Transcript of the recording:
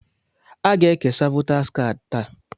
Aga-ekesa votaas kaadị taa.